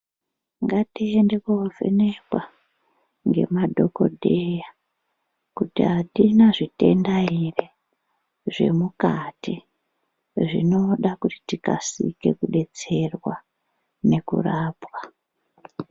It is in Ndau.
Ngatiende koovhenekwa ngemadhokodheya ,kuti atina zvitenda ere, zvemukati zvinoda kuti tikasike kudetserwa nekurapwa.